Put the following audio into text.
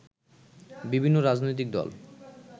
বিভিন্ন রাজনৈতিক দল